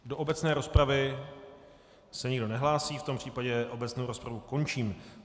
Do obecné rozpravy se nikdo nehlásí, v tom případě obecnou rozpravu končím.